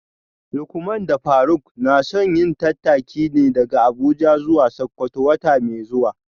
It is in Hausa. Lukman da Faruk na son yin tattaki ne daga Abuja zuwa Sakkwato wata mai zuwa